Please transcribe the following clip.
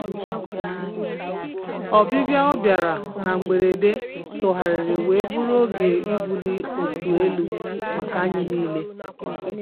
Ọbibịa ọ bịara na mgberede tugharịrị wee bụrụ oge ibuli otu elu maka anyị niile